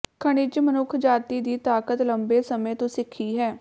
ਖਣਿਜ ਮਨੁੱਖਜਾਤੀ ਦੀ ਤਾਕਤ ਲੰਬੇ ਸਮੇਂ ਤੋਂ ਸਿੱਖੀ ਹੈ